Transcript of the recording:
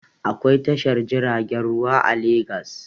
Akwai tashar jiragen ruwa a Legas